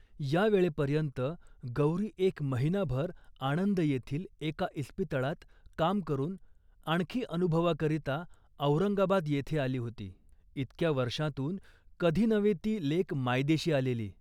या वेळेपर्यंत गौरी एक महिनाभर आणंद येथील एका इस्पितळात काम करून आणखी अनुभवाकरिता औरंगाबद येथे आली होती. इतक्या वर्षांतून कधी नव्हे ती लेक मायदेशी आलेली